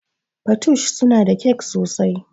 Patoosh suna da kyak sosai